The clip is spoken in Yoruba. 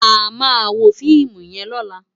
Àmá wó fiimú yèn lòlá